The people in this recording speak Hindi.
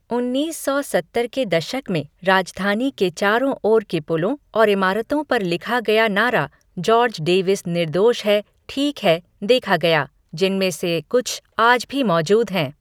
उन्नीस सौ सत्तर के दशक में राजधानी के चारों ओर के पुलों और इमारतों पर लिखा गया नारा "जॉर्ज डेविस निर्दोष है ठीक है" देखा गया, जिनमें से कुछ आज भी मौजूद हैं।